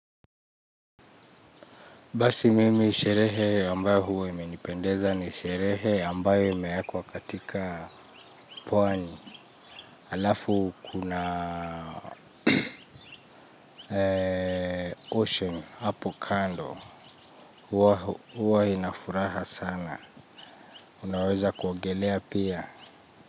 Basi mimi sherehe ambayo huwa imenipendeza ni sherehe ambayo imeekwa katika pwani alafu kuna ocean hapo kando huwa ina furaha sana unaweza kuogelea pia.